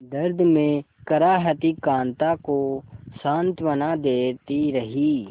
दर्द में कराहती कांता को सांत्वना देती रही